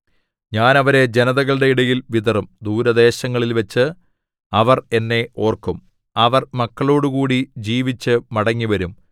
ഞാൻ അവരെ ജനതകളുടെ ഇടയിൽ വിതറും ദൂരദേശങ്ങളിൽവച്ച് അവർ എന്നെ ഓർക്കും അവർ മക്കളോടുകൂടി ജീവിച്ചു മടങ്ങിവരും